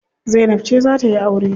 Zainab ce za tayi aure.